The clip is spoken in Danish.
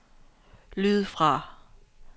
lyd fra